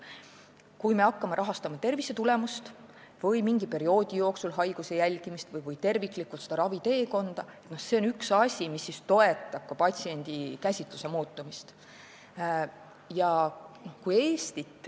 Kui me hakkame rahastama tervisetulemust või mingi perioodi jooksul haiguse jälgimist või raviteekonda terviklikult, siis see on üks asi, mis toetab ka patsiendikäsitluse muutumist.